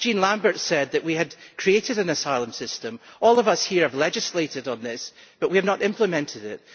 Jean Lambert said that we had created an asylum system all of us here have legislated on this, but we have not implemented it.